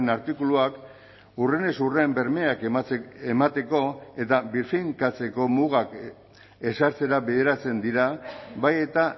artikuluak hurrenez hurren bermeak emateko eta birfinkatzeko mugak ezartzera bideratzen dira bai eta